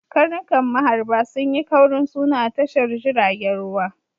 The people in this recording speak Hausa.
Karnukan maharba sun yi kaurin suna a tashar jiragen ruwa.